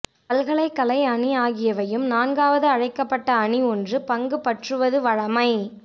பல்கலைகலை அணி ஆகியவையும் நான்காவது அழைக்கப்பட்ட அணி ஒன்று பங்குபற்றுவது வழமை